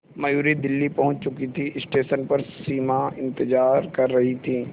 मयूरी दिल्ली पहुंच चुकी थी स्टेशन पर सिमा इंतेज़ार कर रही थी